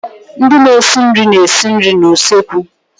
Ndị na-esi nri na-esi nri n'usekwu.